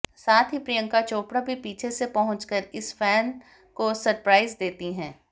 साथ ही प्रियंका चोपड़ा भी पीछे से पहुंचकर उस फैन को सरप्राइज देती हैं